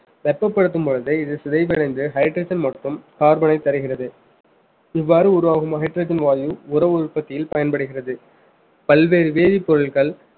வெப்பப்படுத்தும் பொழுது இது சிதைவடைந்து hydrogen மற்றும் carbon ஐ தருகிறது இவ்வாறு உருவாகும் hydrogen வாயு உற்பத்தியில் பயன்படுகிறது பல்வேறு வேதிப்பொருட்கள்